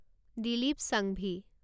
Dilip Sanghvi